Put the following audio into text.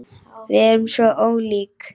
Við erum svo ólík.